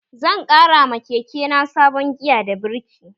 Zan ƙara ma keke na sabon giya da birki